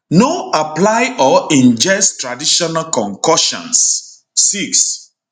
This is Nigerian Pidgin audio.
no apply or ingest traditional concoctions 6